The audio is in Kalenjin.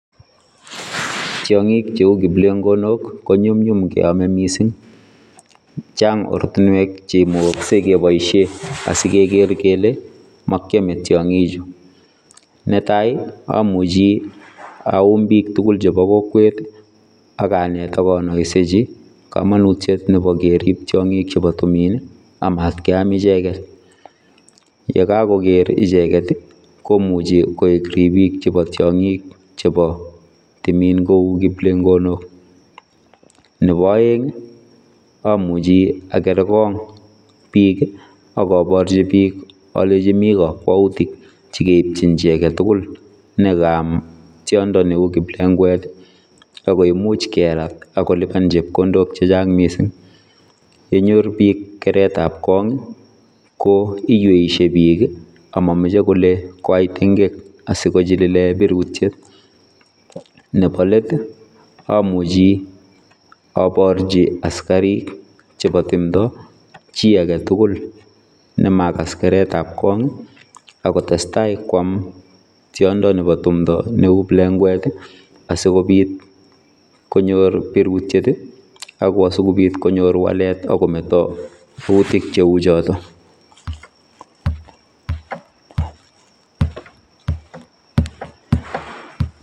Tiangiik che uu kiplengonook ko nyumnyum, chaang oratinweek cheimuuch kebaisheen asigeger kele makyame tiangik chuu netai ii amuchhii aum biik tuguul chebo kokwet ii akaneet akanaisechii kamanutiet nebo keriip tiangiik chebo tumiin ii amat keyam ichegeet, ye kagogeer ichegeet ii komuchei koek ripiik ab tiangiik che uu kiplengonook nebo aeng ii amuchhii agere korong biik ii akabarjii biik alenjiin Mii kakwautiik chekeipchin chii age tugul ne kaam tiondo ne uu kiplengwet ako imuuch keraat akolipaan chepkondook che chaang missing yenyor biik keret ab korong ii ko iweiysie biik ii amache kole koyai tengeek sikochilililen birutiet, nebo let ii amuchi aborjii askariik chebo tumdaa chii age tugul nemagaas keret ab Kong ii ako tesetai kwaam tiondo nebo tumndo neu kiplengwet ii asikobiit konyoor birutiet ako asikobiit konyoor waleet akometaa ,yautiik che uu chotoon.